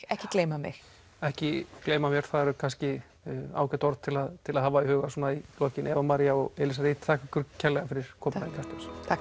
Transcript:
ekki gleyma mér ekki gleyma mér það eru kannski ágæt orð til að til að hafa í huga svona í lokin Eva María og Reid þakka ykkur kærlega fyrir komuna í Kastljós takk